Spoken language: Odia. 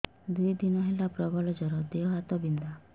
ଦୁଇ ଦିନ ହେଲା ପ୍ରବଳ ଜର ଦେହ ହାତ ବିନ୍ଧା